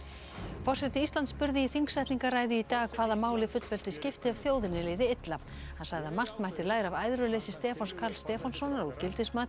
forseti Íslands spurði í þingsetningarræðu í dag hvaða máli fullveldi skipti ef þjóðinni liði illa hann sagði að margt mætti læra af æðruleysi Stefáns Karls Stefánssonar og gildismati